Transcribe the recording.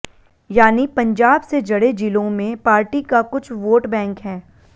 यानि पंजाब से जड़े जिलों में पार्टी का कुछ वोट बैंक है